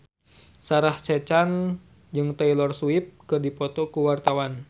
Sarah Sechan jeung Taylor Swift keur dipoto ku wartawan